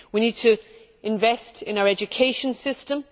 We need to invest in our education system